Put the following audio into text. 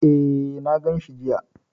E, na ganshi jiya.